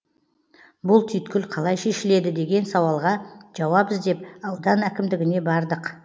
бұл түйткіл қалай шешіледі деген сауалға жауап іздеп аудан әкімдігіне бардық